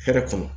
Hɛrɛ kɔnɔ